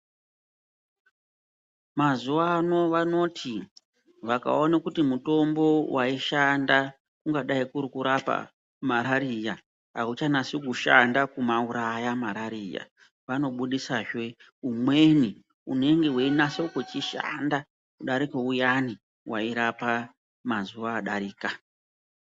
Mazuva ano vanoti vakaona kuti mutombo vaishanda kungadai kurikurapa marariya hauchanasi kushanda kumauraya marariya. Vanobudisazve umweni unenge veinase kuchishanda kudarika uyani vairapa mazuva adarika.